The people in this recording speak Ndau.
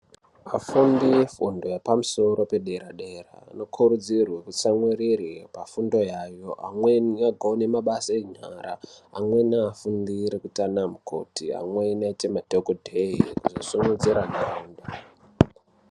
Afundi efundo yepamusoro pedera-dera vanokurudzirwe kutsamwirire pafundo yayo. Vamwe vanogone mabasa enyara, amweni anofundire kuite vana mukoti, vamweni kuite madhogodheya kusimudzira ntaraunda.